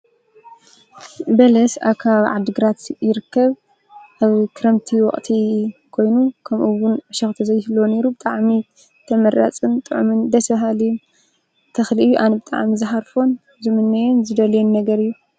በለስ አብ ከባቢ ዓዲ ግራት ይርከብ፡፡ አብ ክረምቲ ወቅቲ ኮይኑ ከምኡውን ዕሾክ ተዘይህልዎ ነይሩ ተመራፂ ጥዑሙን ደስ በሃሊ ተክሊ እዩ፡፡ አነ ብጣዕሚ ዝሃርፎን ዝምንዮን ዝደልዮን ነገር እዩ፡፡